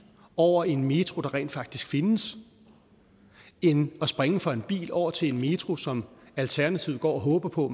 over i en metro der rent faktisk findes end at springe fra en bil over til en metro som alternativet går og håber på